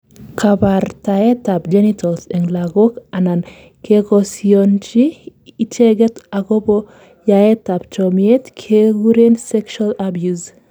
kabartaet ab genitals en lagok anan kekosionchi icheget akobo yaet ab chomyet kekuren sexual abuse